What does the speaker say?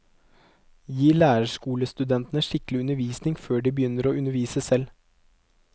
Gi lærerskolestudentene skikkelig undervisning før de begynner å undervise selv.